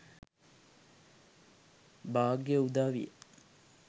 භාග්‍යය උදාවිය.